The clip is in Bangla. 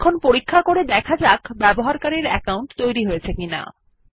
এখন পরীক্ষা করে দেখা যাক ব্যবহারকারীর অ্যাকাউন্ট তৈরি হয়েছে কিনা